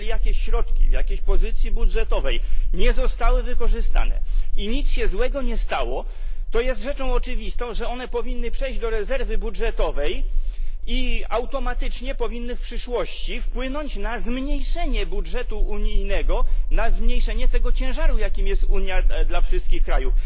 Jeżeli środki w jakiejś pozycji budżetowej nie zostały wykorzystane i nic się złego nie stało, to jest rzeczą oczywistą, że one powinny przejść do rezerwy budżetowej i w przyszłości powinny automatycznie wpłynąć na zmniejszenie budżetu unijnego, na zmniejszenie tego ciężaru, jakim jest Unia dla wszystkich krajów.